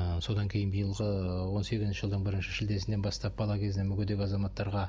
ы содан кейін биылғы он сегізінші жылдың бірінші шілдесінен бастап бала кезінен мүгедек азаматтарға